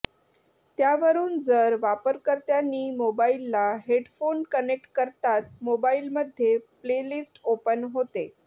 त्यावरून जर वापरकर्त्यांनी मोबाईलला हेडफोन कनेक्ट करताच मोबाईलमध्ये प्लेलिस्ट ओपन होते